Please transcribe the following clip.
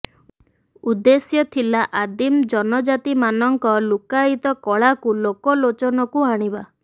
ଉଦ୍ଦେଶ୍ୟ ଥିଲା ଆଦିମ ଜନଜାତି ମାନଙ୍କ ଲୁକାୟିତ କଳାକୁ ଲୋକ ଲୋଚନକୁ ଆଣିବା